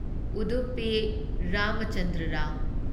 Udupi Ramachandra Rao